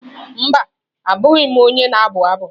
Mba, abụghị m onye na-abụ abụ.